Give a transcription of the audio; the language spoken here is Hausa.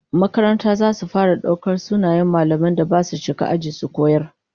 Makarantar zata fara daukar sunayen mallaman da basu shiga aji su koyar